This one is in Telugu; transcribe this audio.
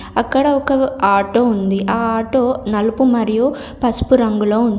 అక్కడ ఒక ఆటో ఉంది. ఆ ఆటో నలుపు మరియు పసుపు రంగులో ఉంది.